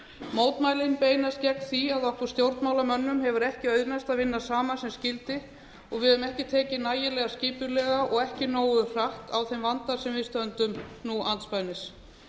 mótmælin beinst gegn því að okkur stjórnmálamönnum hefur ekki auðnast að vinna saman sem skyldi og við höfum ekki tekið nægilega skipulega og ekki nógu hratt á þeim vanda sem við stöndum nú andspænis